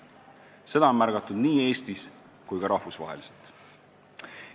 Seda on märgatud nii Eestis kui ka rahvusvaheliselt.